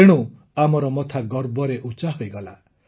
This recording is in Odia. ତେଣୁ ଆମର ମଥା ଗର୍ବରେ ଉଚ୍ଚା ହୋଇଗଲା